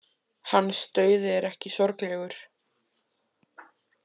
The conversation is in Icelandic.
Hans dauði er ekki sorglegur.